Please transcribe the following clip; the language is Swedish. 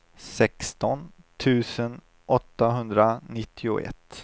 sexton tusen åttahundranittioett